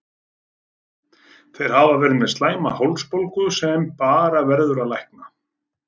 Þeir hafa verið með slæma hálsbólgu sem bara verður að lækna.